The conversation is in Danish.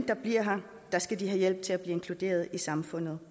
der bliver her skal have hjælp til at blive inkluderet i samfundet